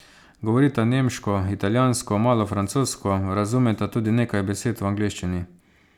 Govorita nemško, italijansko, malo francosko, razumeta tudi nekaj besed v angleščini.